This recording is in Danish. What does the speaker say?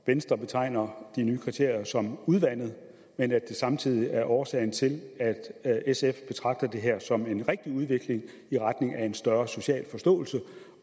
venstre betegner de nye kriterier som udvandede men at det samtidig er årsagen til at sf betragter det her som en rigtig udvikling i retning af en større social forståelse